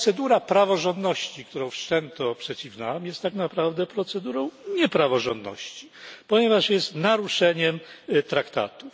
Procedura praworządności, którą wszczęto przeciw nam, jest tak naprawdę procedurą niepraworządności, ponieważ jest naruszeniem traktatów.